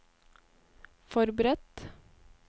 forberedt